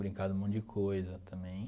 Brincar de um monte de coisa também.